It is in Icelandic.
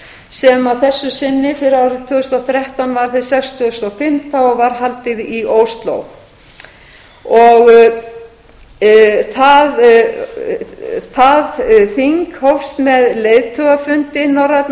að þessu sinni fyrir árið tvö þúsund og þrettán var hið sextugasta og fimmta og var haldið í og fleira það þing hófst með leiðtogafundi norrænna